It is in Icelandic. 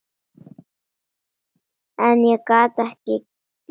En ég gat ekki meir.